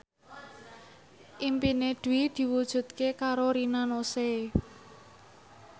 impine Dwi diwujudke karo Rina Nose